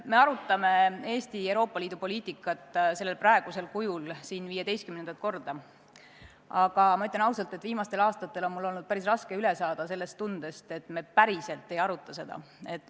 Me arutame Eesti Euroopa Liidu poliitikat praegusel kujul siin 15. korda, aga ma ütlen ausalt, et viimastel aastatel on mul olnud päris raske üle saada tundest, et me päriselt ei aruta seda.